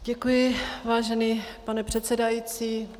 Děkuji, vážený pane předsedající.